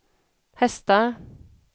hästar